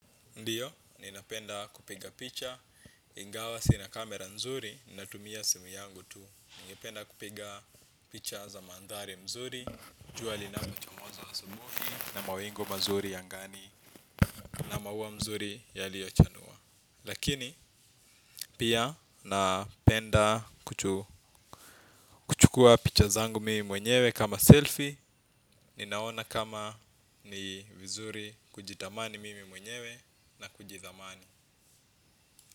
Ndiyo, ninapenda kupiga picha, ingawa sina kamera nzuri, ninatumia simu yangu tu. Ninapenda kupiga picha za mandhari mzuri, jua lina pochomozo asubuhi na mawingu mazuri angani na mauwa mzuri ya lio chanua. Lakini, pia napenda kuchukua picha zangu mimi mwenyewe kama selfie, ninaona kama ni vizuri kujitamani mimi mwenyewe na kujithamani.